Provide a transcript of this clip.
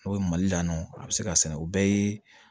N'o ye mali la yan nɔ a bɛ se k'a sɛnɛ o bɛɛ ye